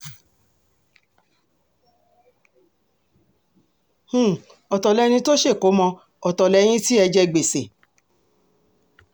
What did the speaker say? um ọ̀tọ̀ lẹni tó ṣèkómọ́ ọ̀tọ̀ lẹ́yìn tí ẹ jẹ gbèsè